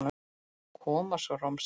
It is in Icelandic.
Svo kom romsan.